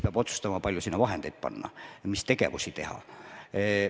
Peab otsustama, kui palju sinna vahendeid panna ja mis tegevusi teha.